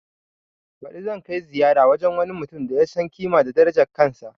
Baɗi zan kai ziyara wajen wani mutum da ya san ƙima da darajan kansa